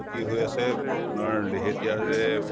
হৈ আছে আপোনাৰ